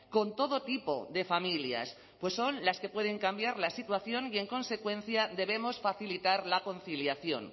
con todo tipo de familias pues son las que pueden cambiar la situación y en consecuencia debemos facilitar la conciliación